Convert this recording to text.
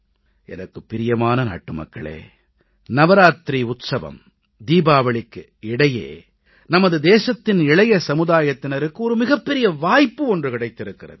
எனக்குப் பிரியமான நாட்டுமக்களே நவராத்திரி உற்சவம் தீபாவளிக்கு இடையே நமது தேசத்தின் இளைய சமுதாயத்தினருக்கு மிகப்பெரிய வாய்ப்பு ஒன்று கிடைத்திருக்கிறது